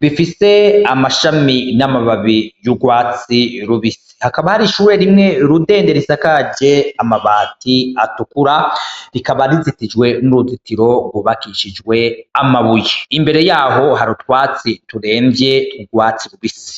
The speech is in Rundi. bifise amashami n'amababi y'urwatsi rubisi hakaba hari ishure rimwe rudende risakaje amabati atukura rikaba rizitijwe n'uruzitiro rwubakishijwe amabuye imbere yaho harutwatsi turemvye turwatsi rubisi.